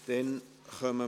Geschäft